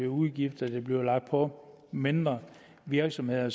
udgifter der bliver lagt på mindre virksomheder jo